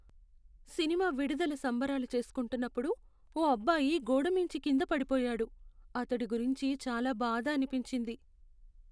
Cinema విడుదల సంబరాలు చేస్కుంటున్నప్పుడు ఓ అబ్బాయి గోడ మీంచి కింద పడిపోయాడు. అతడి గురించి చాలా బాధ అనిపించింది.